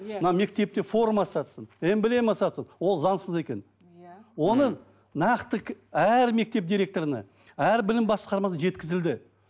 иә мына мектепте форма сатсын эмблема сатсын ол заңсыз екенін иә оны нақты әр мектеп директорына әр білім басқармасына жеткізілді